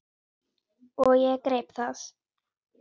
Og ég greip það.